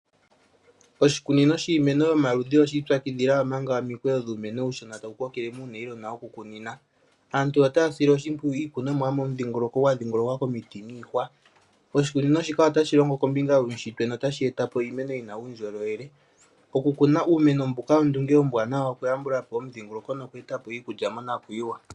Oshikunino shiimeno yomaludhi oshi ipyakidhila omanga omikweyo dhuumeno uushona tawu kokele muunayilona woku kuninwa. Aantu otaya sile oshimpwiyu iikunomwa yomomudhingoloko gwa dhingolokwa komiti niihwa. Oshikunino shika otashi longo kombinga yuunshitwe notashi longo iimeno yina uundjolowele. Okukuna uumeno mbuka ondunge ombwaanawa oku yambula po omudhingoloko noku e ta po iikulya monakuyiwa.